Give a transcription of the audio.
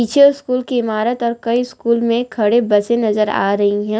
ये स्कूल की इमारत और कई स्कूल में खड़े बसे नजर आ रही है।